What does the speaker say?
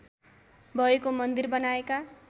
भएको मन्दिर बनाएका